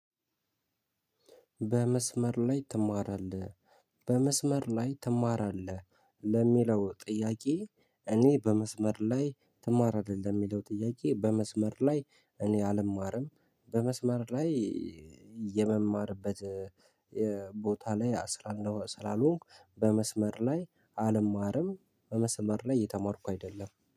በመስመር ላይ ትማራለህ? በመስመር ላይ ትማራለህ ለሚለው ጥያቄ። እኔ በመስመር ላይ ትማራለህ ለሚለው ጥያቄ በመስመር ላይ እኔ አልማርም። በመስመር ላይ የመማርበት ቦታ ላይ ስላልሆንኩ። በመስመር ላይ አልማርም በመስመር ላይ እየተማርኩ አይደለም።